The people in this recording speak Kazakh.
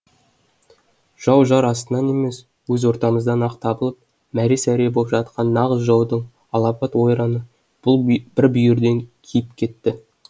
жау жар астынан емес өз ортамыздан ақ табылып мәре сәре боп жатқан нағыз жаудың алапат ойраны бұл бүйірден киіп кетті